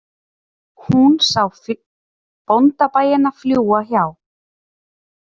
Hún sá bóndabæina fljúga hjá